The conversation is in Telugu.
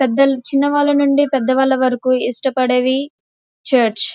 చిన్నవాళ్ల నుండి పెద్దవాళ్ల వరకు ఇష్టపడేవి చర్చ్ .